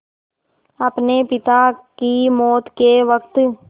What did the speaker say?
अपने पिता की मौत के वक़्त